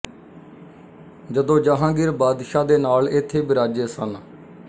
ਜਦੋਂ ਜਹਾਂਗੀਰ ਬਾਦਸ਼ਾਹ ਦੇ ਨਾਲ ਇੱੱਥੇ ਬਿਰਾਾਜੇ ਸਨ